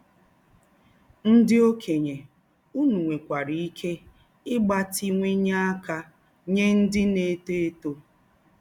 Ndị̀ òkènye, ùnù nwè̀kwārā íké ígbátíwányè ákà nyè ndị̀ na-étò étò